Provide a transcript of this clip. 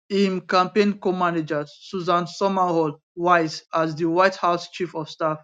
im campaign comanager susan summerall wiles as di white house chief of staff